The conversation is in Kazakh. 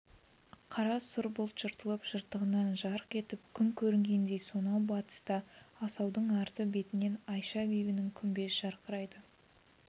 қара сұр бұлт жыртылып жыртығынан жарқ етіп күн көрінгендей сонау батыста асаудың арты бетінен айша-бибінің күмбезі жарқырайды